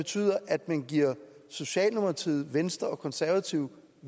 betyder at man giver socialdemokratiet venstre og konservative